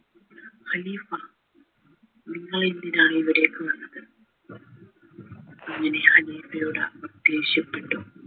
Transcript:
ഖലീഫ നിങ്ങളെന്തിനാണ് ഇവിടേക്ക് വന്നത് അങ്ങനെ ഖലീഫയോട് ദേഷ്യപ്പെട്ടു